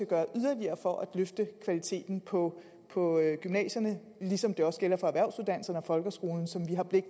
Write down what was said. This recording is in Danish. gøre yderligere for at løfte kvaliteten på på gymnasierne ligesom det også gælder for erhvervsuddannelserne og folkeskolen så vi har blik